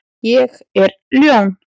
Ég er ljón.